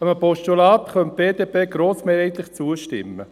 Einem Postulat könnte die BDP grossmehrheitlich zustimmen.